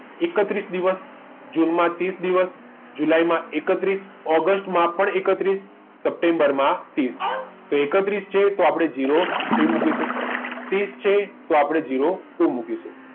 એકત્રીસ દિવસ જૂનમાં ત્રીસ દિવસ જુલાઈમાં એકત્રીસ ઓગસ્ટમાં પણ એકત્રીસ સપ્ટેમ્બર માટે એકત્રીસ જોઈએ તો આપણે zero three મુકીશું ત્રીસ છે તો આપણે zero two મુકીશું